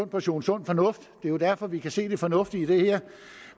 portion sund fornuft det er jo derfor vi kan se det fornuftige i det her